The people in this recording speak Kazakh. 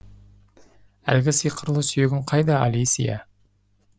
әлгі сиқырлы сүйегің қайда алисия